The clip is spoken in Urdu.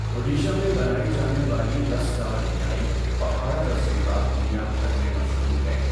اڈیشہ میں بنائی جانے والی رس دار مٹھائی پہاڑہ رسگلہ دنیا بھر میں مشہور ہے۔